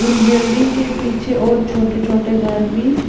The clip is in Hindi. इन बिल्डिंग के पीछे और छोटे-छोटे घर भी--